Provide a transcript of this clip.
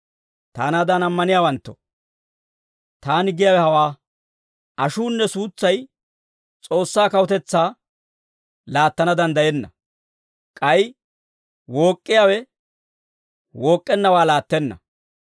Taanaadan ammaniyaawanttoo, taani giyaawe hawaa; ashuunne suutsay S'oossaa kawutetsaa laattana danddayenna. K'ay wook'k'iyaawe wook'k'ennawaa laattenna.